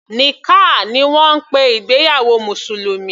Nikkah ni wọ́n ń pe ìgbéyàwó mùsùlùmí.